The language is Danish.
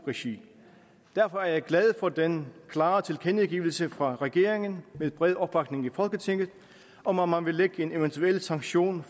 regi derfor er jeg glad for den klare tilkendegivelse fra regeringen med bred opbakning i folketinget om at man vil lægge en eventuel sanktion